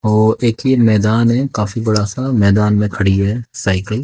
वो मैदान है काफी बड़ा सा मैदान में खड़ी हुई है साइकिल ।